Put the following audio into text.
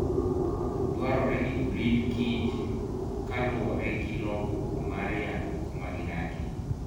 Dwarore ni orit kich kaluore gi lokruok mar yamo kumagidakieye